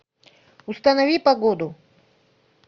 установи погоду